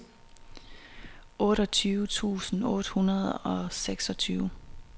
otteogtyve tusind otte hundrede og seksogtyve